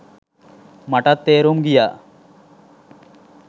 මටත් තේරුම් ගියා